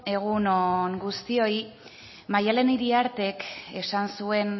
egun on guztioi maddalen iriartek esan zuen